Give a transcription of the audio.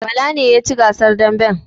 Bala ne ya ci gasar damben